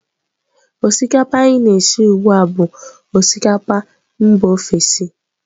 Osikapa anyị na-esi ugbu a bụ osikapa mba ofesi.